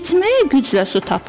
İçməyə güclə su tapırlar.